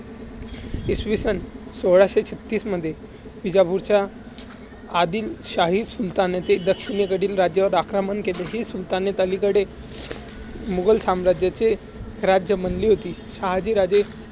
इसवी सन सोळाशे छत्तीस मध्ये विजापूरच्या आदिलशाही सुलतानाचे दक्षिणेकडील राज्येवर आक्रमण केले. हे सुलाताने अलीकडे मुघल साम्राजाचे राज्य बनली होती. शहाजीराजे